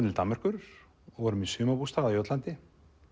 til Danmerkur og vorum í sumarbústað á Jótlandi